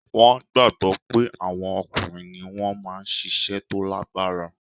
Wọn gbagbọ pé àwọn ọkùnrin ni wọ́n máa ń ṣiṣẹ́ tó lágbára